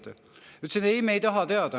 " Ta ütles: "Ei, me ei taha teada.